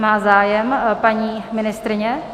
Má zájem paní ministryně?